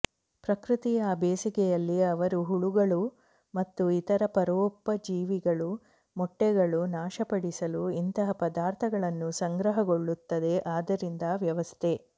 ಪ್ರಕೃತಿ ಆ ಬೇಸಿಗೆಯಲ್ಲಿ ಅವರು ಹುಳುಗಳು ಮತ್ತು ಇತರ ಪರೋಪಜೀವಿಗಳು ಮೊಟ್ಟೆಗಳು ನಾಶಪಡಿಸಲು ಇಂತಹ ಪದಾರ್ಥಗಳನ್ನು ಸಂಗ್ರಹಗೊಳ್ಳುತ್ತದೆ ಆದ್ದರಿಂದ ವ್ಯವಸ್ಥೆ